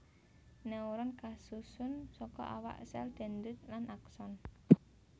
Neuron kasusun saka awak sèl dendrit lan akson